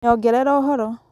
nyongerera ũhoro